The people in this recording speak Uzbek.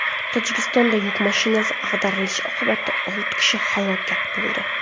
Tojikistonda yuk mashinasi ag‘darilishi oqibatida olti kishi halok bo‘ldi.